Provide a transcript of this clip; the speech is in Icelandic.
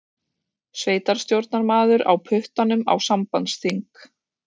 Sveitarstjórnarmaður á puttanum á sambandsþing